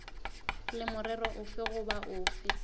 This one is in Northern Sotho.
le morero ofe goba ofe